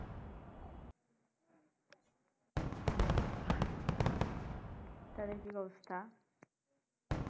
তাদের কি অবস্থা?